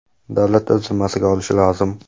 davlat o‘z zimmasiga olishi lozim.